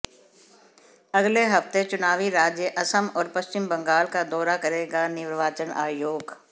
अगले हफ्ते चुनावी राज्य असम और पश्चिम बंगाल का दौरा करेगा निर्वाचन आयोग